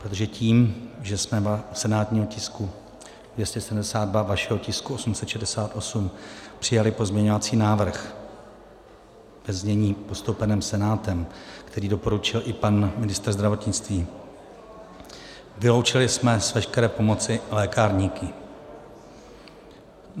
Protože tím, že jsme u senátního tisku 272, vašeho tisku 868, přijali pozměňovací návrh ve znění postoupeném Senátem, který doporučil i pan ministr zdravotnictví, vyloučili jsme z veškeré pomoci lékárníky.